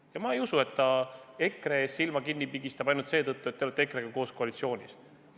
Ja ma ei usu, et ta EKRE tegude ees silma kinni pigistab ainult seetõttu, et te olete EKRE-ga koos koalitsioonis.